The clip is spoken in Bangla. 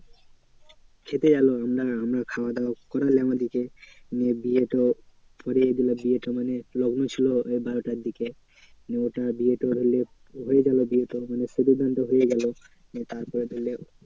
খেতে গেলো আমরা আমরা খাওয়া দাওয়া করালাম ওদিকে। নিয়ে বিয়ে তো বিয়েটা মানে লগ্ন ছিল ওই বারোটার দিকে। নিয়ে বিয়ে তোর ধরলে হয়ে গেলো বিয়ে তোর মানে সিঁদুরদান তো হয়ে গেলো। নিয়ে তারপর ধরলে